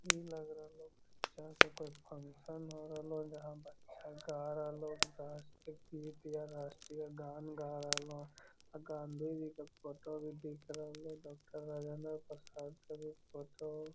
इ लग रहलो जहाँ पे कोई फंक्शन हो रहलो जहाँ बच्चा गा रहलो राष्ट्रीय गीत या राष्ट्रीय गान गा रहलो और गाँधी जी के फोटो भी दिख रहलो डॉक्टर राजेंद्र प्रसाद के भी फोटो --